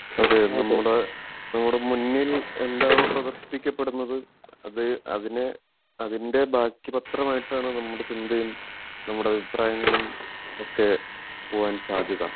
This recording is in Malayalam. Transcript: അതെ നമ്മുടെ നമ്മുടെ മുന്നിൽ എന്താണോ പ്രദർശിപ്പിക്കപ്പെടുന്നത് അത് അതിന് അതിൻ്റെ ബാക്കി പത്രം ആയിട്ടാണ് നമ്മുടെ ചിന്തയും നമ്മുടെ അഭിപ്രായങ്ങളും ഒക്കെ പോവാൻ സാധ്യത